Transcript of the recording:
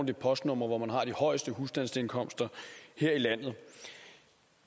de postnumre hvor man har de højeste husstandsindkomster her i landet